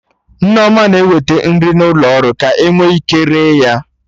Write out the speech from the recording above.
Nneoma na-eweta nri n'ụlo ọrụ ka ọ nwee ike ree ya